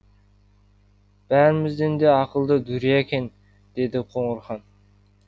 бәрімізден де ақылды дүрия екен деді қоңырхан